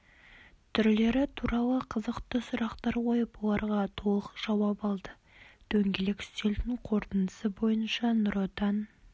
түрлері туралы қызықты сұрақтар қойып оларға толық жауап алды дөңгелек үстелдің қорытындысы бойынша нұр отан